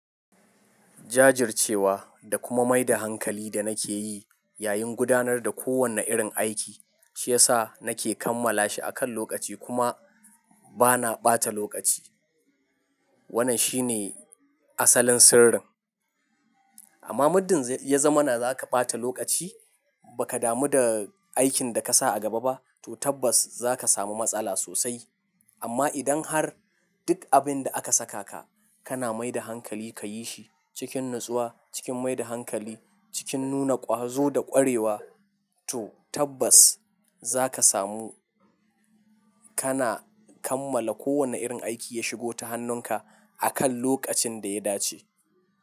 Jajircewa, da kuma mai da hankali da nake yi yayin gudanar da kowane irin aiki, shi ya sa nake kammala shi akan lokaci kuma bana ɓata lokaci. Wannan shine asalin sirrin. Amma muddin ya zama na zaka ɓata lokaci baka damu da aikin da kasa a gaba ba to tabbas zaka samu matsala sosai. Amma idan har duk abinda aka sakaka, kana mai da hankali ka yi shi cikin natsuwa, cikin mai da hankali, cikin nuna ƙwazo da ƙwarewa, to tabbas zaka samu kana kammala kowane irin aiki ya shigo ta hannunka akan lokacin da ya dace.